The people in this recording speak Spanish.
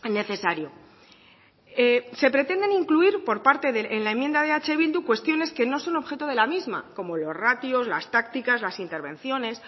necesario se pretenden incluir por parte de en la enmienda de eh bildu cuestiones que no son objeto de la misma como los ratios las tácticas las intervenciones